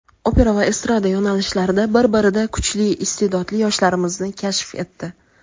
opera va estrada yo‘nalishlarida bir-birida kuchli iste’dodli yoshlarimizni kashf etdi.